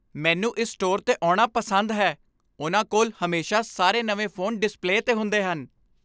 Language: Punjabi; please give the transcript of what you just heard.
ਮੈਨੂੰ ਇਸ ਸਟੋਰ 'ਤੇ ਆਉਣਾ ਪਸੰਦ ਹੈ। ਉਹਨਾਂ ਕੋਲ ਹਮੇਸ਼ਾ ਸਾਰੇ ਨਵੇਂ ਫ਼ੋਨ ਡਿਸਪਲੇ 'ਤੇ ਹੁੰਦੇ ਹਨ।